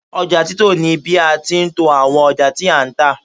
oja tito ni bi a ti n to awon oja ti a n ta